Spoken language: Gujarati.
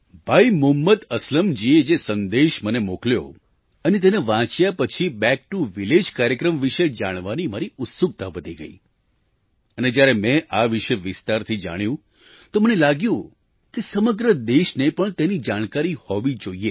ભાઈ મુહમ્મદ અસલમજીએ જે સંદેશ મને મોકલ્યો અને તેને વાંચ્યા પછી બેક ટીઓ વિલેજ કાર્યક્રમ વિશે જાણવાની મારી ઉત્સુકતા વધી ગઈ અને જ્યારે મેં આ વિશે વિસ્તારથી જાણ્યું તો મને લાગ્યું કે સમગ્ર દેશને પણ તેની જાણકારી હોવી જોઈએ